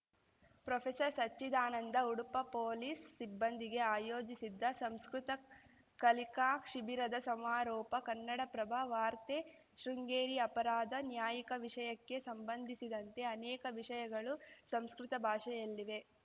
ಪ್ರೊಫೆಸರ್ಸಚ್ಚಿದಾನಂದ Udupa police ಸಿಬ್ಬಂದಿಗೆ ಆಯೋಜಿಸಿದ್ದ ಸಂಸ್ಕೃತ ಕಲಿಕಾ ಶಿಬಿರದ ಸಮಾರೋಪ ಕನ್ನಡಪ್ರಭ ವಾರ್ತೆ ಶೃಂಗೇರಿ ಅಪರಾಧ ನ್ಯಾಯಿಕ ವಿಷಯಕ್ಕೆ ಸಂಬಂಧಿಸಿದಂತೆ ಅನೇಕ ವಿಷಯಗಳು ಸಂಸ್ಕೃತ ಭಾಷೆಯಲ್ಲಿವೆ